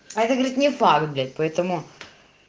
а эта говорить не факт блять поэтому